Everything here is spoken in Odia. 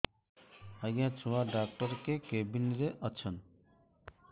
ଆଜ୍ଞା ଛୁଆ ଡାକ୍ତର କେ କେବିନ୍ ରେ ଅଛନ୍